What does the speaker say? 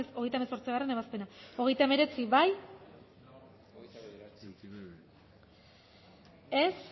hogeita hemezortzigarrena ebazpena hogeita hemeretzi bozkatu dezakegu